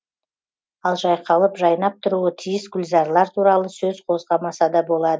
ал жайқалып жайнап тұруы тиіс гүлзарлар туралы сөз қозғамаса да болады